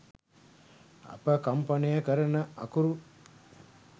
අප කම්පනය කරන අකුරු